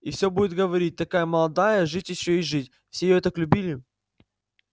и все будут говорить такая молодая жить ещё и жить все её так любили